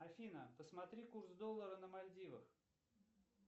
афина посмотри курс доллара на мальдивах